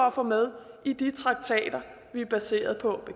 at få med i de traktater vi er baseret på